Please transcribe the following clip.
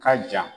Ka ja